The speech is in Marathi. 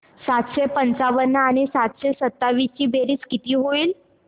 सातशे पंचावन्न आणि सातशे सत्तावीस ची बेरीज किती होईल